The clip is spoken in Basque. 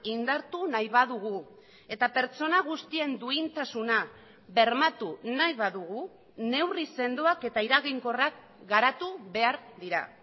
indartu nahi badugu eta pertsona guztien duintasuna bermatu nahi badugu neurri sendoak eta eraginkorrak garatu behar dira